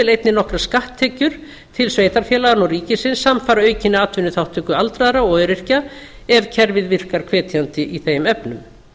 einnig nokkrar skatttekjur til sveitarfélaganna og ríkisins samfara aukinni atvinnuþátttöku aldraðra og öryrkja ef kerfið virkar hvetjandi í þeim efnum